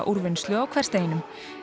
úrvinnslu á hversdeginum